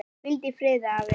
Hvíldu í friði, afi.